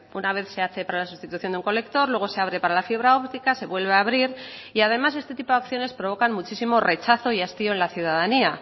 una vez se hace para la sustitución de un colector luego se abre para la fibra óptica se vuelve a abrir y además este tipo de acciones provocan muchísimo rechazo y hastío en la ciudadanía